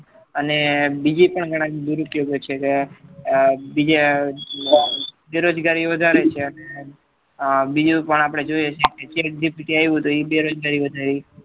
અને બીજી ઘણા પણ દૂર ઉપયોગે છે કે બીજા બેરોજગારી વધારે છે અને બીજું પણ જોઈ છે કે Chat GPT આવ્યું તો એ બેરોજગારી વધારે છે